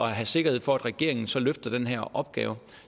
have sikkerhed for at regeringen så løfter den her opgave